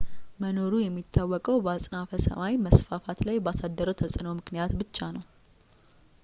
መኖሩ የሚታወቀው በአጽናፈ ሰማይ መስፋፋት ላይ ባሳደረው ተጽዕኖ ምክንያት ብቻ ነው